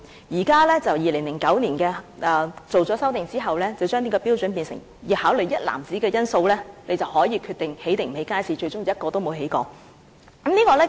現時，在2009年修訂這項標準後，便變成須考慮一籃子因素，才可以決定是否興建街市，但最終卻是一個也沒有興建。